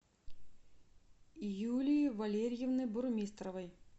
юлии валерьевны бурмистровой